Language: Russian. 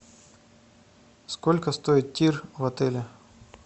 сколько стоит тир в отеле